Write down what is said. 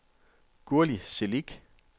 Gurli Celik